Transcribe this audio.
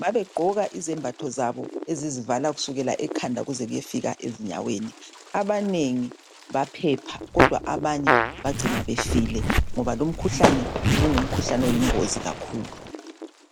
Babegqoka izembatho zabo ezizivala kusukisela ekhanda kuze kuyefika ezinyaweni abanengi baphepha kodwa abanye bagcina befile ngoba lumkhuhlane ube ungumkhuhlane oyingozi kakhulu.